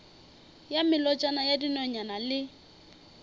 ya melotšana ya dinonyane le